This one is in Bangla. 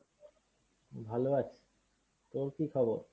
ভালো আছি। তোর কী খবর?